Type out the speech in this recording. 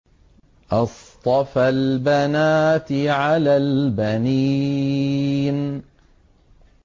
أَصْطَفَى الْبَنَاتِ عَلَى الْبَنِينَ